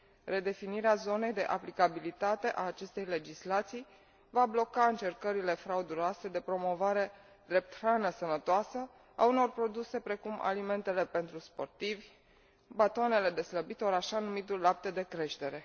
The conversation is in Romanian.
Redefinirea zonei de aplicabilitate a acestei legislații va bloca încercările frauduloase de promovare drept hrană sănătoasă a unor produse precum alimentele pentru sportivi, batoanele de slăbit ori așa numitul lapte de creștere.